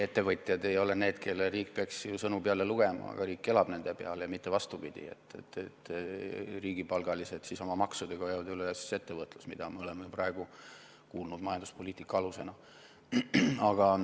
Ettevõtjad ei ole need, kellele riik peaks ju sõnu peale lugema, riik elab nende peal ja ei ole mitte vastupidi, nagu riigipalgalised oma maksudega hoiaksid üleval ettevõtlust, mida me oleme praegu kuulnud majanduspoliitika alusena.